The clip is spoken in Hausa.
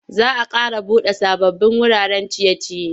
Za a ƙara buɗe sababbin wuraren ciye-ciye.